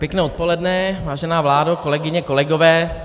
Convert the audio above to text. Pěkné odpoledne, vážená vládo, kolegyně, kolegové.